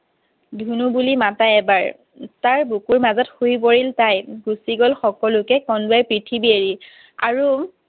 ধুনু বুলি মাতা এবাৰ। তাৰ বুকুৰ মাজত শুই গ'ল তাই। গুছি গ'ল সকলোকে কন্দুৱাই পৃথিৱী এৰি। আৰু